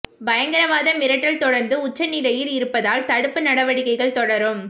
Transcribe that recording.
பயங்கரவாத மிரட்டல் தொடர்ந்து உச்ச நிலையில் இருப்பதால் தடுப்பு நடவடிக்கைகள் தொடரும்